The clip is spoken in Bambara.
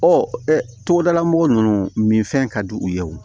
togodala mɔgɔ nunnu min fɛn ka di u ye o